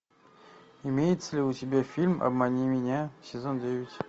имеется ли у тебя фильм обмани меня сезон девять